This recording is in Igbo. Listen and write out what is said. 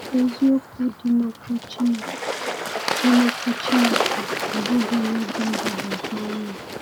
Eziokwu dị n’Ọkwú Chineke dị n’Ọkwú Chineke abụghị ihe dị mgbagwoju anya.